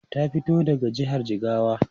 Ta fito daga jihar Jigawa.